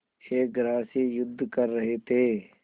एक ग्रास से युद्ध कर रहे थे